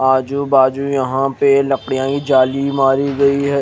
आजू बाजु यहा पे लकडिया की जाली मारी गयी है।